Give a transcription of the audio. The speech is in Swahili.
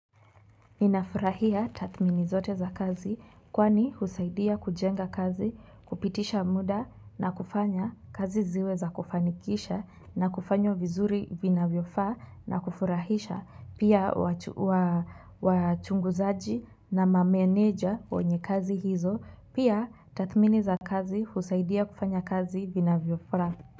Ninafurahia tathmini zote za kazi kwani husaidia kujenga kazi kupitisha muda na kufanya kazi ziwe za kufanikisha na kufanya vizuri vina vofaa na kufurahisha pia wachunguzaji na mameneja kwenye kazi hizo pia tatmini za kazi husaidia kufanya kazi vinavofaa.